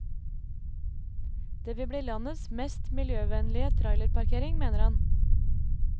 Det vil bli landets mest miljøvennlige trailerparkering, mener han.